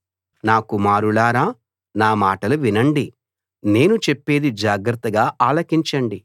నా కుమారులారా నా మాటలు వినండి నేను చెప్పేది జాగ్రత్తగా ఆలకించండి